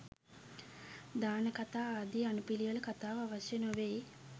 දානකථා ආදී අනුපිළිවෙල කතාව අවශ්‍ය නොවෙයි.